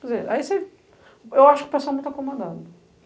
Quer dizer, ai você. Eu acho que o pessoal muito acomodado.